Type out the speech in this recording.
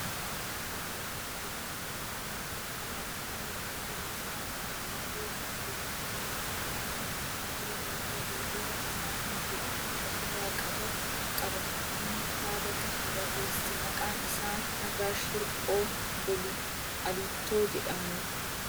Kitaabni kun maalidhaa? Kitaabni kun kitaaba afaan oromoo qola isaa irraa mata duree jechamoota afaana oromoo fi hiikota isaanii jedhu of irraa qaba. Namni kitaaba kana barreesse maqaan isaa Nagaash Hirphoo Aliittoo jedhamu.